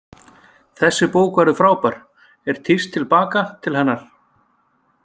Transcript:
Þessi bók verður frábær, er tíst til baka til hennar.